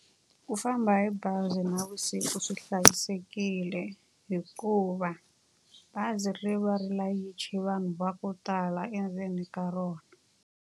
Ku famba hi bazi navusiku swi hlayisekile hikuva, bazi ri va ri layiche vanhu va ku tala endzeni ka rona.